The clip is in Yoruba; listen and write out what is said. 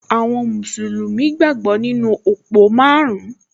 Àwọn mùsùlùmí gbàgbọ́ nínú òpó márùn-ún